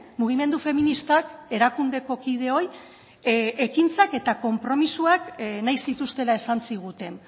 mugimendu feministak erakundeko kideoi ekintzak eta konpromisoak nahi zituztela esan ziguten